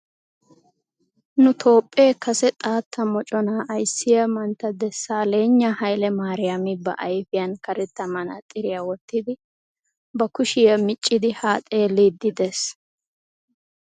Nu toophphee Kase xaatta moconaa ayissiya manttaa desalegna haile mariyami ba ayifiyan karetta manaaxxiriya wottidi ba kushiya miicciiddi haa xelliiddi dees.